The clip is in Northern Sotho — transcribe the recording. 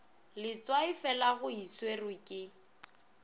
letswaifela go e swerwe ke